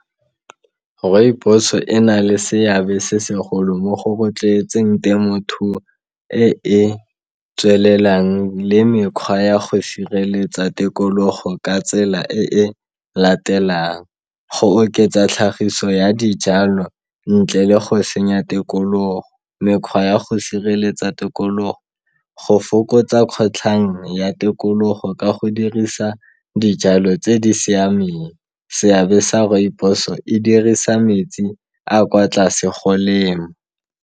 Rooibos e na le seabe se segolo mo go rotloetseng temothuo e e tswelelang le mekgwa ya go sireletsa tikologo ka tsela e e latelang, go oketsa tlhagiso ya dijalo ntle le go senya tikologo, mekgwa ya go sireletsa tikologo, go fokotsa kgotlhang ya tikologo ka go dirisa dijalo tse di siameng, seabe sa rooibos e dirisa metsi a kwa tlase go lema.